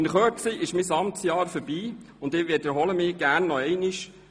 In Kürze ist nun mein Amtsjahr vorbei, und ich wiederhole mich gerne noch einmal: